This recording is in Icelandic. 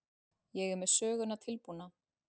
Ég er með söguna tilbúna.